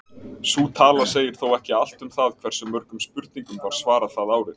Sú tala segir þó ekki allt um það hversu mörgum spurningum var svarað það árið.